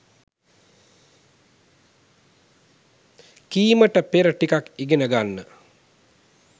කීමට පෙර ටිකක් ඉගෙන ගන්න.